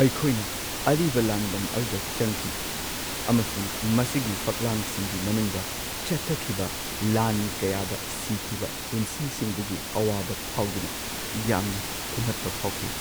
ꯑꯩꯈꯣꯏꯅ ꯑꯔꯤꯕ ꯂꯥꯟꯕꯟ ꯑꯗꯨꯗ ꯆꯪꯈꯤ ꯑꯃꯁꯨꯡ ꯃꯁꯤꯒꯤ ꯐꯛꯂꯥꯡꯁꯤꯡꯒꯤ ꯃꯅꯨꯡꯗ ꯆꯠꯊꯈꯤꯕ ꯂꯥꯟ ꯀꯌꯥꯗ ꯁꯤꯈꯤꯕ ꯄꯨꯟꯁꯤꯁꯤꯡꯗꯨꯒꯤ ꯑꯋꯥꯕ ꯐꯥꯎꯗꯨꯅ ꯌꯥꯝꯅ ꯊꯨꯝꯍꯠꯄ ꯐꯥꯎꯈꯤ꯫